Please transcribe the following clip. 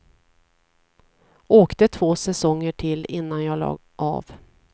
Åkte två säsonger till innan jag la av.